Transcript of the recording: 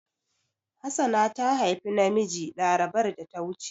Hassana ta haifi namiji larabar da ta wuce.